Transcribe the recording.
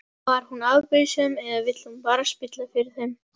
Var hún afbrýðisöm eða vill hún bara spilla fyrir þeim?